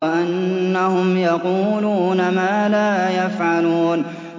وَأَنَّهُمْ يَقُولُونَ مَا لَا يَفْعَلُونَ